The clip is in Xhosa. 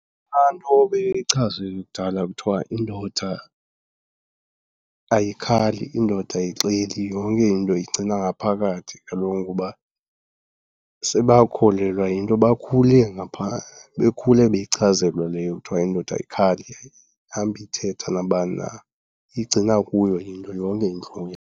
Yilaa nto beyichazwe kudala kuthiwa indoda ayikhali, indoda ayixeli, yonke into iyigcina ngaphakathi kaloku. Ngoba sebakholelwa yinto bakhule bekhula beyichazelwa leyo kuthiwa indoda ayikhali, ayihambi ithetha nabani na, iyigcina kuyo into yonke intlungu .